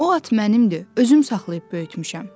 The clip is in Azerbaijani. O at mənimdir, özüm saxlayıb böyütmüşəm.”